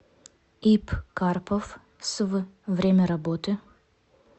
ип карпов св время работы